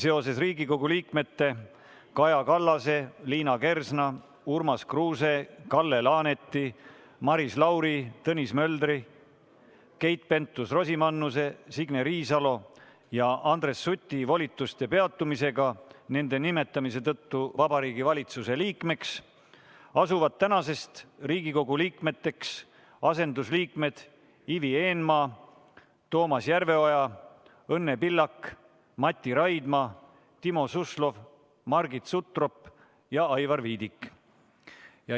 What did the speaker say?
Seoses Riigikogu liikmete Kaja Kallase, Liina Kersna, Urmas Kruuse, Kalle Laaneti, Maris Lauri, Tõnis Möldri, Keit Pentus-Rosimannuse, Signe Riisalo ja Andres Suti volituste peatumisega nende nimetamise tõttu Vabariigi Valitsuse liikmeks asuvad tänasest Riigikogu liikmeteks asendusliikmed Ivi Eenmaa, Toomas Järveoja, Õnne Pillak, Mati Raidma, Timo Suslov, Margit Sutrop ja Aivar Viidik.